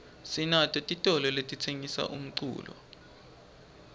sinato titolo letitsengisa umculo